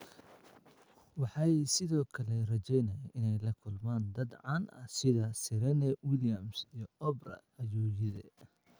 Waxay sidoo kale rajeynayaan inay la kulmaan dad caan ah sida Serena Williams iyo Oprah, ayuu yidhi.